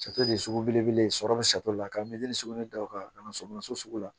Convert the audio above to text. de ye sugu belebele ye sɔrɔ bɛ la ka miiri sogo in daw kan ka na somaso sugu la